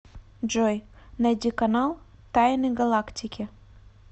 джой найди канал тайны галактики